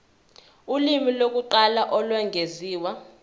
ulimi lokuqala olwengeziwe